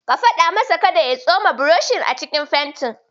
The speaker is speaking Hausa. Ka faɗa masa kada ya ya tsoma burushinsa a cikin fentin.